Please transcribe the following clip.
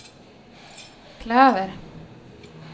klöver